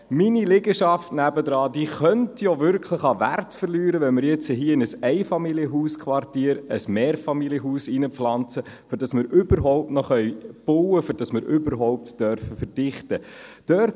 Meine Liegenschaft neben mir könnte ja wirklich an Wert verlieren, wenn man in ein Einfamilienhausquartier ein Mehrfamilienhaus hineinpflanzt, um überhaupt noch bauen zu können, damit wir überhaupt verdichten dürfen.